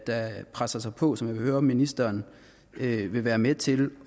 der presser sig på og som jeg vil høre om ministeren vil være med til